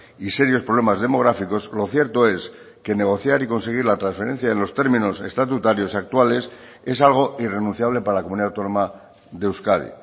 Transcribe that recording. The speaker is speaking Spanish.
y serios problemas demográficos lo cierto es que negociar y conseguir la transferencia en los términos estatutarios actuales es algo irrenunciable para la comunidad autónoma de euskadi